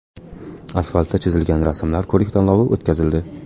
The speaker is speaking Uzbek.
Asfaltda chizilgan rasmlar ko‘rik-tanlovi o‘tkazildi.